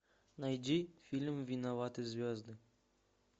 найди фильм виноваты звезды